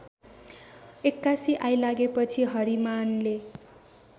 एक्कासि आइलागेपछि हरिमाने